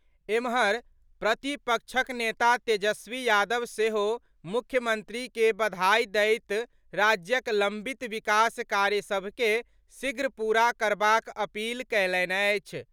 एम्हर, प्रतिपक्षक नेता तेजस्वी यादव सेहो मुख्यमंत्री के बधाई दैत राज्यक लंबित विकास कार्य सभ के शीघ्र पूरा करबाक अपील कएलनि अछि।